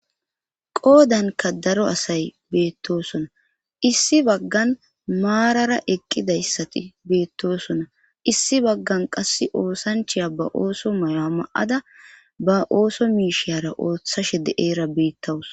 Qoodanka daro asay beettosona issi baggan maarara eqqidayssati beettoosona issi baggan qass oosanchiya ba ooso mayo ma7ada ba ooso miisheyara ooththashe de eera beettawus.